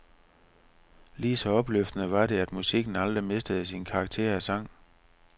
Lige så opløftende var det, at musikken aldrig mistede sin karakter af sang.